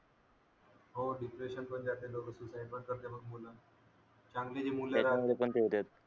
हो डिप्रेशन मुळे लोक सुसाईड पण करतात बघ मुलं चांगली ही मुले